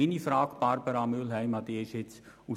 Meine Frage an Grossrätin Mühlheim ist nun: